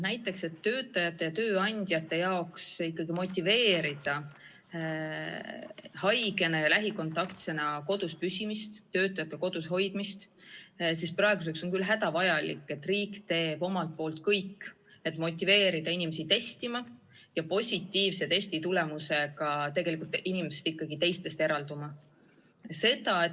Näiteks, selleks et tööandjaid ikkagi motiveerida töötajate kodus hoidmist, nende haigena ja lähikontaktsena kodus püsimist, on praeguseks küll hädavajalik, et riik teeks omalt poolt kõik, et motiveerida inimesi testima ja positiivse testi tulemuse korral tegelikult teistest eralduma.